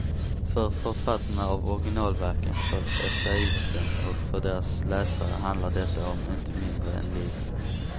För författarna av originalverken, för essäisten och för deras läsare handlar detta om inte mindre än livet.